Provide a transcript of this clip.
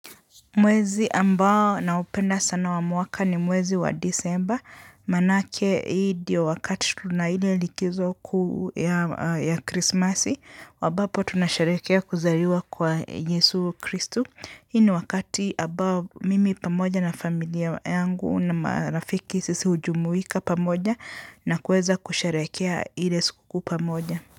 Mwezi ambao na upenda sana wamwaka ni mwezi wa disemba, manake hii ndiyo wakati tuna ile likizo kuu ya krismasi, ambapo tunasharehekea kuzaliwa kwa Yesu Kristu. Hii ni wakati ambao mimi pamoja na familia yangu na marafiki sisi hujumuika pamoja na kuweza kusherehekea ile siku pamoja.